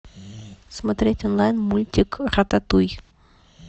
смотреть онлайн мультик рататуй